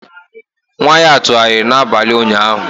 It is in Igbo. Nwa ya tụgharịrị n'abalị ụnyaahụ.